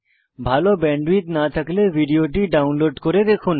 ভাল ব্যান্ডউইডথ না থাকলে ভিডিওটি ডাউনলোড করে দেখুন